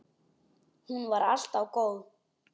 Hún var alltaf góð.